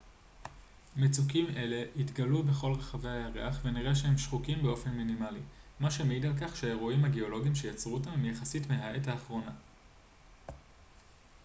מצוקים אלה התגלו בכל רחבי הירח ונראה שהם שחוקים באופן מינימלי מה שמעיד על כך שהאירועים הגאולוגיים שיצרו אותם הם יחסית מהעת האחרונה